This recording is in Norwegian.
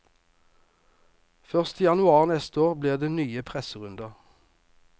Først i januar neste år blir det nye presserunder.